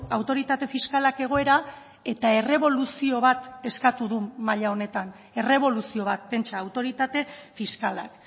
autoritate fiskalak egoera eta erreboluzio bat eskatu du maila honetan erreboluzio bat pentsa autoritate fiskalak